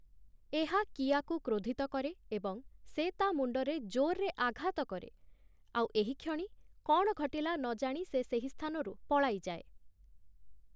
ଏହା କିଆକୁ କ୍ରୋଧିତ କରେ ଏବଂ ସେ ତା' ମୁଣ୍ଡରେ ଜୋରରେ ଆଘାତ କରେ, ଆଉ ଏହିକ୍ଷଣି କ'ଣ ଘଟିଲା ନଜାଣି ସେ ସେହି ସ୍ଥାନରୁ ପଳାଇଯାଏ ।